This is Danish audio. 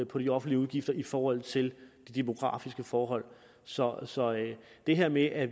på de offentlige udgifter i forhold til de demografiske forhold så så det her med at